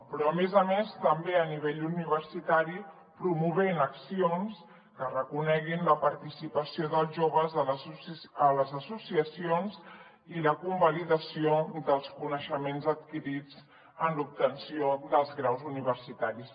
però a més a més també a nivell universitari promovent accions que reconeguin la participació dels joves a les associacions i la convalidació dels coneixements adquirits en l’obtenció dels graus universitaris